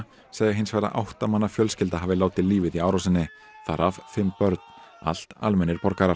segja hins vegar að átta manna fjölskylda hafi látið lífið í árásinni þar af fimm börn allt almennir borgarar